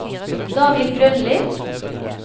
David Grønli